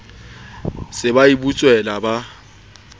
se ba e butswela ba